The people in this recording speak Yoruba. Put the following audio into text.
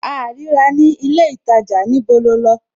A à rí ra ní ilé ìtajà, níbo lo lọ?